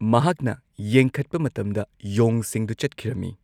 ꯃꯍꯥꯛꯅ ꯌꯦꯡꯈꯠꯄ ꯃꯇꯝꯗ ꯌꯣꯡꯁꯤꯡꯗꯨ ꯆꯠꯈꯤꯔꯝꯃꯤ ꯫